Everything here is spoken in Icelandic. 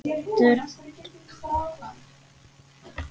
VorDans í vetur.